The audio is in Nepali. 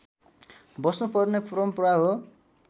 बस्नुपर्ने परम्परा हो